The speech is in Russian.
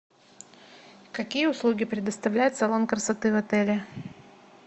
какие услуги предоставляет салон красоты в отеле